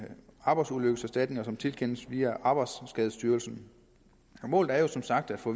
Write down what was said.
arbejdsulykkeserstatninger som tilkendes via arbejdsskadestyrelsen målet er som sagt at få